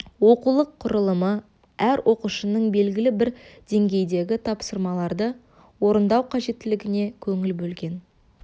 оқулық құрылымы әр оқушының белгілі бір деңгейдегі тапсырмаларды орындау қажеттілігіне көңіл бөлген